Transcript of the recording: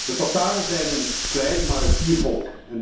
De Tataren zijn een klein maar fier volk.